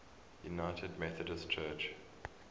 united methodist church